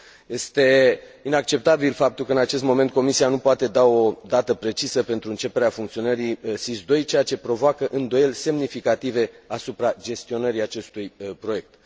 Este inacceptabil faptul că, în acest moment, Comisia nu poate da o dată precisă pentru începerea funcționării SIS II, ceea ce provoacă îndoieli semnificative asupra gestionării acestui proiect.